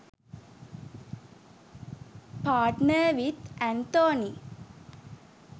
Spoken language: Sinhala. partner with anthony